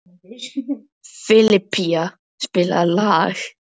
Filippa, spilaðu lag.